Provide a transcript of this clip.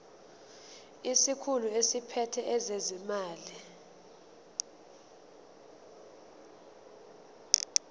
isikhulu esiphethe ezezimali